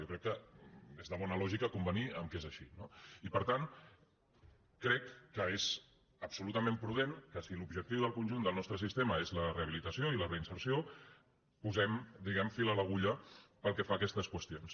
jo crec que és de bona lògica convenir que és així no i per tant crec que és absolutament prudent que si l’objectiu del conjunt del nostre sistema és la rehabilitació i la reinserció posem diguem ne fil a l’agulla pel que fa a aquestes qüestions